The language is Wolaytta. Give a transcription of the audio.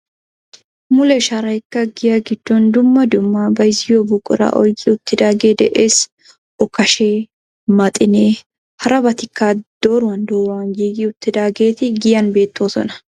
Mule sharaykka giyaa giddon dumma dumma bayzziyoo buquraa oyqqi uttagee de'ees. Okashshee, maxinee harabatikka dooruwaan dooruwaan giigi uttidaageti giyaan beettosona.